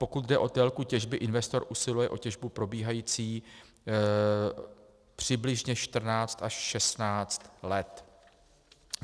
Pokud jde o délku těžby, investor usiluje o těžbu probíhající přibližně 14 až 16 let.